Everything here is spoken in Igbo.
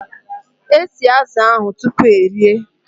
E sie azụ̀ ụnyahụ tupu erie